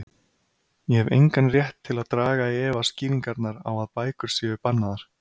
Ég hef engan rétt til að draga í efa skýringarnar á að bækur séu bannaðar.